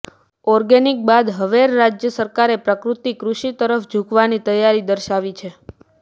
organic બાદ હવેર રાજ્ય સરકારે પ્રાકૃતિક કૃષિ તરફ જુકવાની તૈયારી દર્શાવી છે